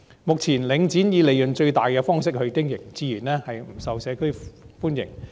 目前，領展以利潤最大的方式經營，自然不受社區歡迎。